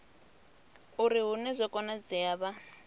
uri hune zwa konadzea vha